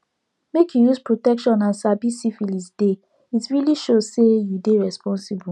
make you use protection and sabi syphilis deyit really show say you dey responsible